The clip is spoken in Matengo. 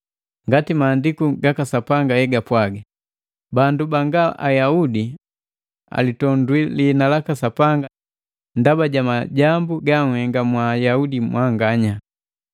Ngati Maandiku gaka Sapanga hegapwaga, “Bandu banga Ayaudi alitondwi liina laka Sapanga ndaba ja majambu ganhenga mwa Ayaudi mwanganya.”